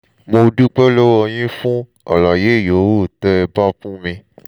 mo dúpẹ́ lọ́wọ́ yín fún àlàyé yòówù tẹ́ ẹ bá fún mi